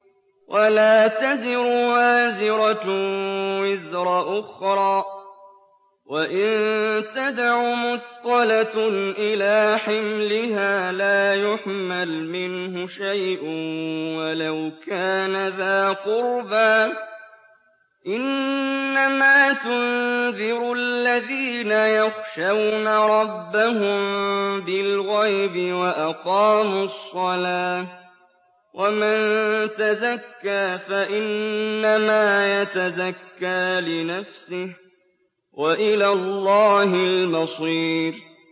وَلَا تَزِرُ وَازِرَةٌ وِزْرَ أُخْرَىٰ ۚ وَإِن تَدْعُ مُثْقَلَةٌ إِلَىٰ حِمْلِهَا لَا يُحْمَلْ مِنْهُ شَيْءٌ وَلَوْ كَانَ ذَا قُرْبَىٰ ۗ إِنَّمَا تُنذِرُ الَّذِينَ يَخْشَوْنَ رَبَّهُم بِالْغَيْبِ وَأَقَامُوا الصَّلَاةَ ۚ وَمَن تَزَكَّىٰ فَإِنَّمَا يَتَزَكَّىٰ لِنَفْسِهِ ۚ وَإِلَى اللَّهِ الْمَصِيرُ